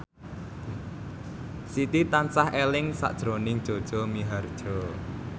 Siti tansah eling sakjroning Jaja Mihardja